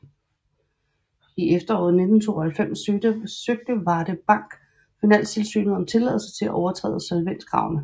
I efteråret 1992 søgte Varde Bank Finanstilsynet om tilladelse til at overtræde solvenskravene